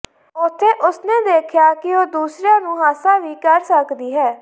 ਉੱਥੇ ਉਸ ਨੇ ਦੇਖਿਆ ਕਿ ਉਹ ਦੂਸਰਿਆਂ ਨੂੰ ਹਾਸਾ ਵੀ ਕਰ ਸਕਦੀ ਹੈ